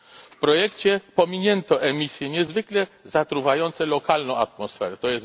W projekcie pominięto emisje niezwykle zatruwające lokalną atmosferę, tj.